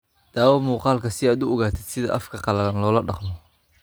(Daawo muuqaalka si aad u ogaatid sida afka qalalan loola dhaqmo.